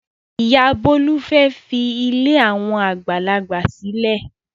Ìyá Bólú fẹ́ fi ilé àwọn àgbàlagbà sílẹ̀.